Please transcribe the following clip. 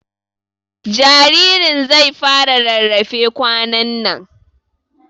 Jaririn zai fara rarrafe kwanan nan